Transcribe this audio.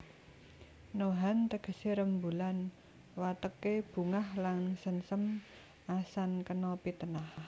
Nohan tegesé rembulan wateké bungah lan sengsem asan kena pitenah